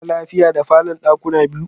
Kana lafiya da falon dakuna biyu?